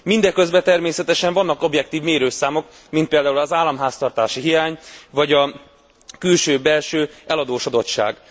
Mindeközben természetesen vannak objektív mérőszámok, mint például az államháztartási hiány, vagy a külső belső eladósodottság.